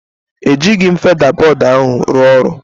Ejighị m feda bọd ahụ rụọ ọrụ.